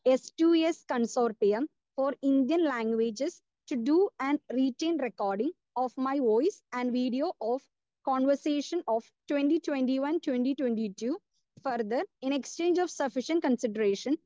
Speaker 2 s two s consortium for Indian languages to do and written recording of my voice and video of conversation of twenty twenty one to twenty twenty two. Further, in exchange of sufficient consideration,